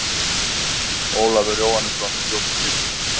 Ólafur Jóhannesson: Stjórnskipun Íslands.